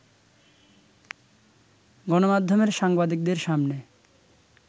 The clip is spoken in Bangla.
গণমাধ্যমের সাংবাদিকদের সামনে